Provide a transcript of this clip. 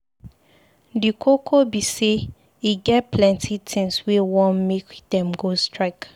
Di koko be say e get plenty tins wey wan make dem go strike.